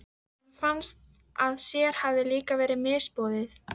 Honum fannst að sér hefði líka verið misboðið.